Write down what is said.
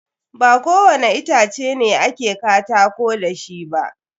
Ba ko wani itace ne a ke katako da shi ba.